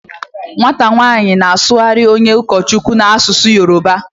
Nwata nwanyi na-asughari onye ukochukwu n'asusu Yoruba